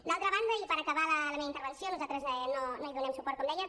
d’altra banda i per acabar la meva intervenció nosaltres no hi donem suport com deia